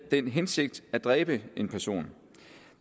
den hensigt at dræbe en anden person